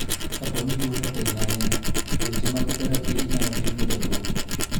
Ka poni tuo no otegno ahinya to weche mag therapy inyalo tim ne jatuo.